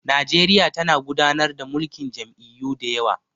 Nigeria tana gudanar da mulkin jam'iyyu da yawa